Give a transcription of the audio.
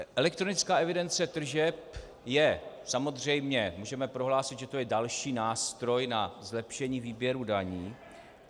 Elektronická evidence tržeb je samozřejmě, můžeme prohlásit, že to je další nástroj na zlepšení výběru daní.